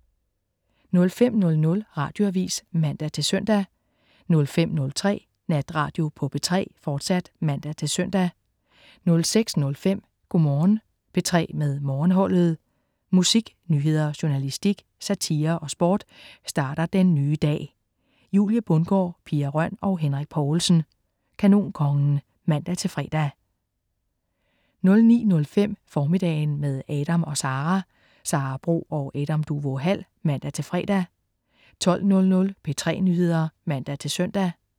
05.00 Radioavis (man-søn) 05.03 Natradio på P3, fortsat (man-søn) 06.05 Go' Morgen P3 med Morgenholdet. Musik, nyheder, journalistik, satire og sport starter den nye dag. Julie Bundgaard, Pia Røn og Henrik Povlsen. Kanonkongen (man-fre) 09.05 Formiddagen, med Adam & Sara. Sara Bro og Adam Duvå Hall (man-fre) 12.00 P3 Nyheder (man-søn)